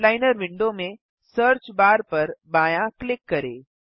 outliner window में search bar पर बायाँ क्लिक करें